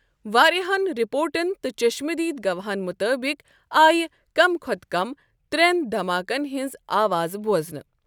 واریاہَن رپورٹن تہٕ چشمہٕ دید گواہَن مُطٲبق آے کم کھوتہٕ کم ترٮ۪ن دھماکن ہنٛز آوازٕ بوزنہٕ۔